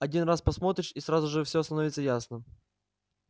один раз посмотришь и сразу же всё становится ясно